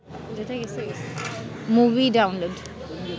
movie download